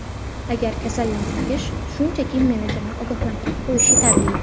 Agar kasallansangiz, shunchaki menejerni ogohlantirib qo‘yish yetarli.